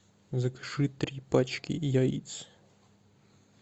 закажи три пачки яиц